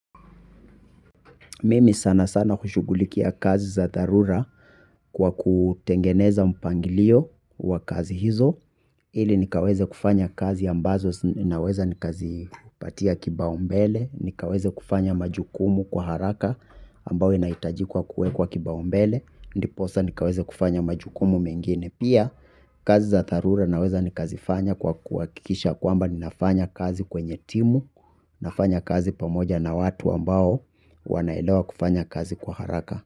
Mimi sana sana hushugulikia kazi za tharura kwa kutengeneza mpangilio wa kazi hizo. Ili nikaweze kufanya kazi ambazo naweza nikazi patia kibau mbele. Nikaweze kufanya majukumu kwa haraka ambao inaitajikwa kuekwa kibau mbele. Ndiposa nikaweze kufanya majukumu mengine. Pia kazi za tharura naweza nikazifanya kwa kuakikisha kwamba ninafanya kazi kwenye timu. Nafanya kazi pamoja na watu ambao wanaelawa kufanya kazi kwa haraka.